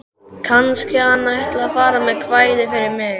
Kannski hann ætli að fara með kvæði fyrir mig.